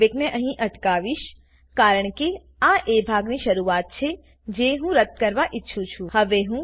હું પ્લેબેકને અહીં અટકાવીશ કારણ કે આ એ ભાગની શરૂઆત છે જે હું રદ્દ કરવા ઈચ્છું છું